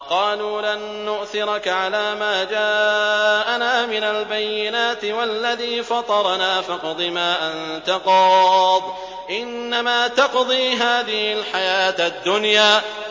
قَالُوا لَن نُّؤْثِرَكَ عَلَىٰ مَا جَاءَنَا مِنَ الْبَيِّنَاتِ وَالَّذِي فَطَرَنَا ۖ فَاقْضِ مَا أَنتَ قَاضٍ ۖ إِنَّمَا تَقْضِي هَٰذِهِ الْحَيَاةَ الدُّنْيَا